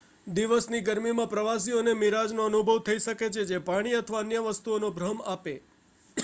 દિવસની ગરમીમાં પ્રવાસીઓને મિરાજનો અનુભવ થઈ શકે છે જે પાણી અથવા અન્ય વસ્તુઓનો ભ્રમ આપે